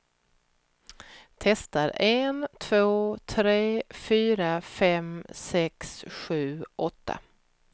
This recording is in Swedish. Testar en två tre fyra fem sex sju åtta.